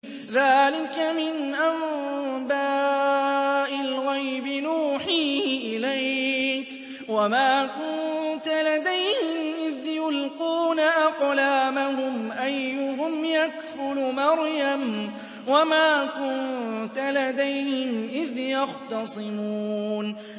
ذَٰلِكَ مِنْ أَنبَاءِ الْغَيْبِ نُوحِيهِ إِلَيْكَ ۚ وَمَا كُنتَ لَدَيْهِمْ إِذْ يُلْقُونَ أَقْلَامَهُمْ أَيُّهُمْ يَكْفُلُ مَرْيَمَ وَمَا كُنتَ لَدَيْهِمْ إِذْ يَخْتَصِمُونَ